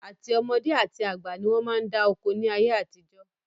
Àti ọmọdé àti àgbà ni wọn máa ń dá oko ni ayé àtijọ́